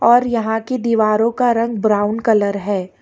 और यहां की दीवारों का रंग ब्राउन कलर है।